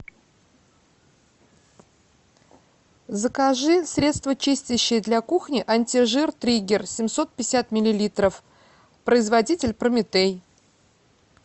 закажи средство чистящее для кухни антижир триггер семьсот пятьдесят миллилитров производитель прометей